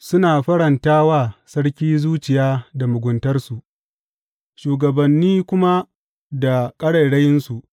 Suna faranta wa sarki zuciya da muguntarsu, shugabanni kuma da ƙarairayinsu.